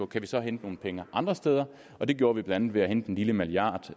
kan hente nogle penge andre steder og det gjorde vi blandt andet ved at hente en lille milliard